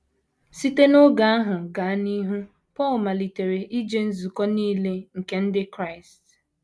Site n’oge ahụ gaa n’ihu, Paul malitere ije nzukọ nile nke ndị Kraịst.